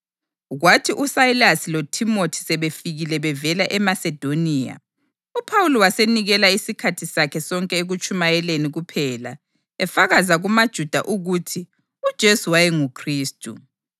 Kwathi uSayilasi loThimothi sebefikile bevela eMasedoniya, uPhawuli wasenikela isikhathi sakhe sonke ekutshumayeleni kuphela efakaza kumaJuda ukuthi uJesu wayenguKhristu.